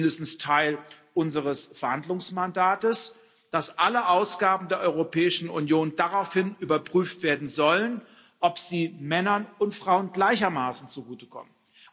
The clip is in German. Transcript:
Das ist zumindest Teil unseres Verhandlungsmandats, dass alle Ausgaben der Europäischen Union daraufhin überprüft werden sollen, ob sie Männern und Frauen gleichermaßen zugutekommen.